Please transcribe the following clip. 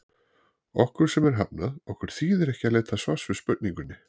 Okkur sem er hafnað, okkur þýðir ekki að leita svars við spurningunni